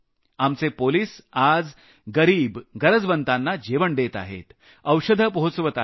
आमचे पोलिस आज गरिब गरजवंतांना जेवण देत आहेत औषधं पोहचवत आहेत